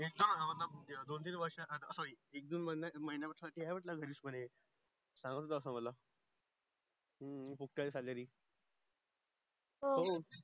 या एक दोन वर्ससाठी सॉरी एक दोन महिन्या साठी आहे घरीच म्हणे सांगत होता अस मला खूप आहे काहे सेलेरी